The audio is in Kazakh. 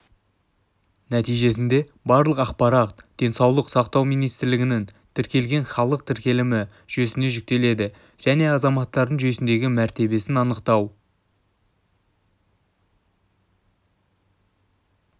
нәтижесінде барлық ақпарат денсаулық сақтау министрлігінің тіркелген халық тіркелімі жүйесіне жүктеледі және азаматтардың жүйесіндегі мәртебесін анықтау